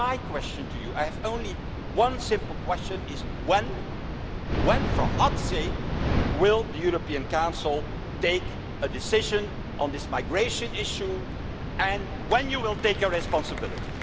So my question to you I have only one simple question is when for God's sake will the European Council take a decision on this migration issue, and when will you take responsibility?